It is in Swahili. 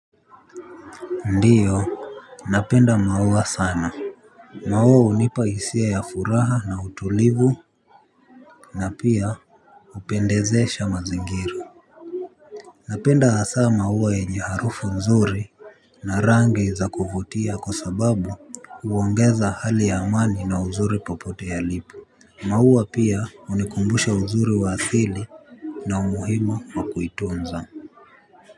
Ndiyo napenda maua sana maua hunipa hisia ya furaha na utulivu na pia hupendezesha mazingira napenda hasa maua yenye harufu nzuri na rangi za kuvutia kwa sababu huongeza hali ya amani na uzuri popote yalipo maua pia hunikumbusha uzuri wa asili na umuhimu wa kuitunza.